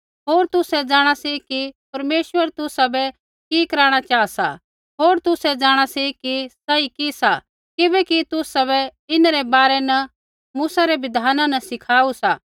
होर तुसै जाँणा सी कि परमेश्वर तुसाबै कि कराणा चाहा सा होर तुसै जाँणा सी कि सही कि सा किबैकि तुसाबै इन्हरै बारै न मूसै रै बिधाना न सिखाऊ सा